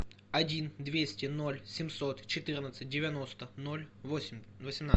один двести ноль семьсот четырнадцать девяносто ноль восемь восемнадцать